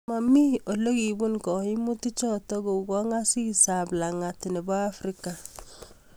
Maami ole kiipun gaimutik chotok kou Kongaasis ab langat nebo Africa